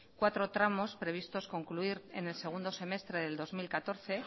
cuatro tramos previstos concluir en el segundo semestre del dos mil catorce